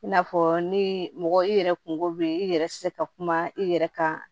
I n'a fɔ ni mɔgɔ i yɛrɛ kungo bɛ i yɛrɛ tɛ se ka kuma i yɛrɛ kan